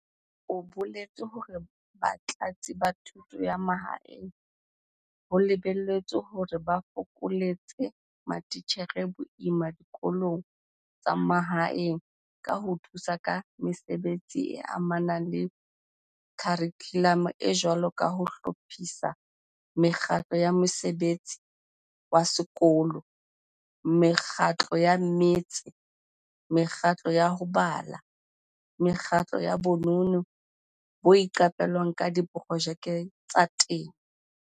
O boletse hore Batlatsi ba Thuto ya Mahaeng ho lebe lletswe hore ba fokoletse matitjhere boima dikolong tsa mahaeng ka ho thusa ka mesebetsing e amanang le kharikhulamo e jwalo ka ho hlophisa mekgatlo ya mosebetsi wa sekolo, mekgatlo ya mmetse, mekgatlo ya ho bala, mekgatlo ya bonono bo iqapelwang le diprojeke tsa temo.